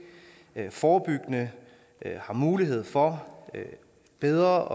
forebyggende har mulighed for bedre